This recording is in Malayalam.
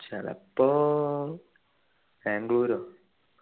ചെലപ്പോ ബാംഗ്ലുരോ